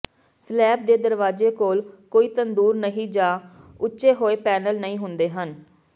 slab ਦੇ ਦਰਵਾਜ਼ੇ ਕੋਲ ਕੋਈ ਤੰਦੂਰ ਨਹੀਂ ਜਾਂ ਉੱਚੇ ਹੋਏ ਪੈਨਲ ਨਹੀਂ ਹੁੰਦੇ ਹਨ